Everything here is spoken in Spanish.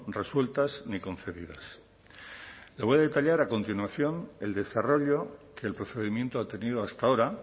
resueltas ni concedidas le voy a detallar a continuación el desarrollo que el procedimiento ha tenido hasta ahora